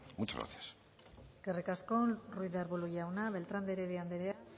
muchas gracias eskerrik asko ruiz de arbulo jauna beltran de heredia andrea